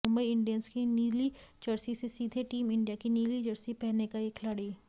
Mumbai Indians की नीली jersey से सीधे टीम इंडिया की नीली जर्सी पहनेगा ये खिलाड़ी